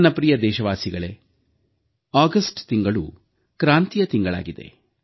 ನನ್ನ ಪ್ರಿಯ ದೇಶವಾಸಿಗಳೇ ಆಗಸ್ಟ್ ತಿಂಗಳು ಕ್ರಾಂತಿಯ ತಿಂಗಳಾಗಿದೆ